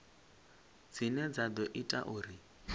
dzine dza ḓo ita uri